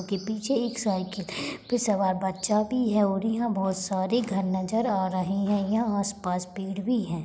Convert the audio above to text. इसके पीछे एक साइकिल पे सवार बच्चा भी है और यहाँ बहोत सारे घर नज़र आ रहे हैं यहाँ आस पास पेड़ भी हैं।